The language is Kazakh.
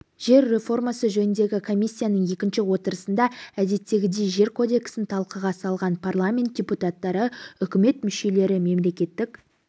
жер реформасы жөніндегі комиссияның екінші отырысында әдеттегідей жер кодексін талқыға салған парламент депутаттары үкімет мүшелері мемлекеттік